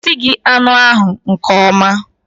O sighi anụ ahu nke ọma